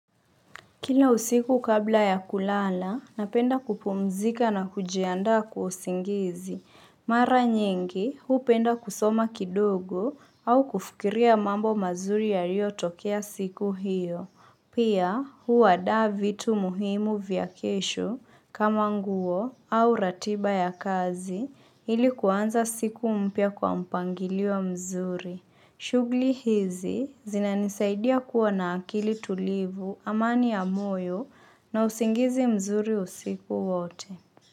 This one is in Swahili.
Kila usiku kabla ya kulala, napenda kupumzika na kujiandaa kwa usingizi. Mara nyingi, hupenda kusoma kidogo au kufikiria mambo mazuri yalio tokea siku hiyo. Pia, huandaa vitu muhimu vya kesho kama nguo au ratiba ya kazi ili kuanza siku mpya kwa mpangilio mzuri. Shuguli hizi zinanisaidia kuwa na akili tulivu, amani ya moyo na usingizi mzuri usiku wote.